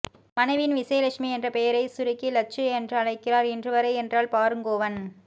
மனைவியின் விசயலட்சுமி என்ற பெயரை சுருக்கி லட்சு என்று அழைக்கிறார் இன்றுவரை என்றால் பாருங்கோவன்